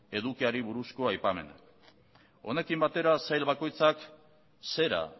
edukiari buruzko aipamena honekin batera sail bakoitzak zera